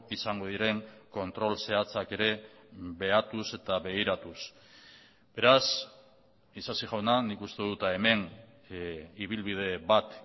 izango diren kontrol zehatzak ere behatuz eta begiratuz beraz isasi jauna nik uste dut hemen ibilbide bat